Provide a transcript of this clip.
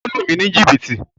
O lu mi ni jìbìtì!